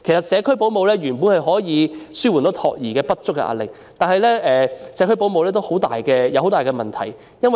社區保姆本來可以紓緩託兒服務不足的壓力，但這方面有很大問題。